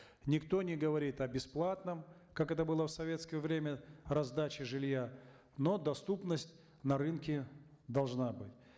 никто не говорит о бесплатном как это было в советское время раздача жилья но для доступность на рынке должна быть